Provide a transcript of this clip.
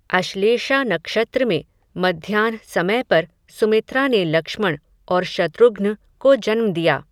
अश्लेषा नक्षत्र में, मध्याह्न समय पर, सुमित्रा ने लक्ष्मण, और शत्रुघ्न को जन्म दिया